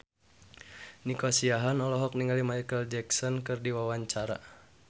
Nico Siahaan olohok ningali Micheal Jackson keur diwawancara